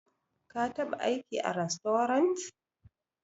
Ka taɓa aiki a rastorant?